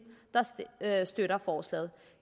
der støtter forslaget